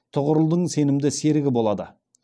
тұғырылдың сенімді серігі болады